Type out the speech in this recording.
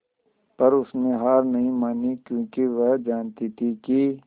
पर उसने हार नहीं मानी क्योंकि वह जानती थी कि